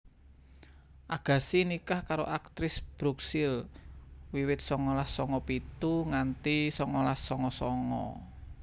Agassi nikah karo aktris Brooke Shields wiwit songolas songo pitu nganti songolas songo songo